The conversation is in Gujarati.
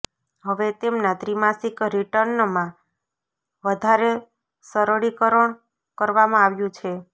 હવે તેમના ત્રિમાસિક રિટર્નમાં વધારે સરળીકરણ કરવામાં આવ્યું છે